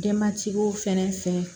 Denbatigiw fɛnɛ fɛ